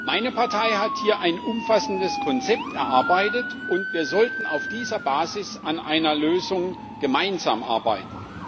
Meine Partei hat hier ein umfassendes Konzept erarbeitet, und wir sollten auf dieser Basis an einer Lösung gemeinsam arbeiten.